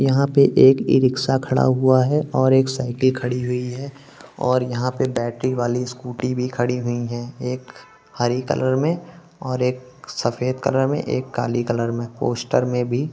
यहाँ पे एक ई-रिक्शा खड़ा हुआ है और एक साइकिल खड़ी हुई है और यहाँ पे बैटरी वाली स्कूटी भी खड़ी हुई है एक हरी कलर में और एक सफ़ेद कलर में एक काली कलर में पोस्टर में भी--